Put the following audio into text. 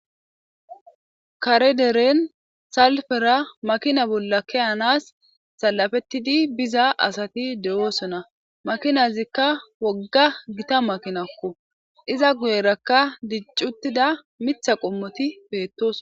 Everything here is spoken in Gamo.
karederen salfera makina bolla keyanas salafettidi biza asati de7oosona makinazikka wogga gita makinakko iza guyerakka diccuttida mitha qommoti peettos